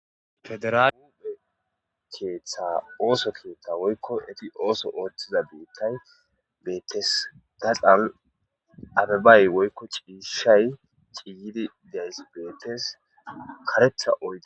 Federale keththa woyikko oththo keththa etti oththo oththiza keththayi betees.gaxanni abebayi woyikko cishshayi ciyid dizayis betes.kareththa oyide